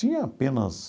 Tinha apenas